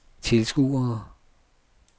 tilskuere